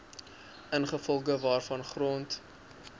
ingevolge waarvan grond